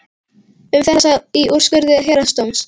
Um þetta sagði í úrskurði héraðsdóms: